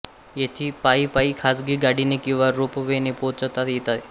येथे पायी पायी खाजगी गाडीने किवा रोपवेने पोहचता येते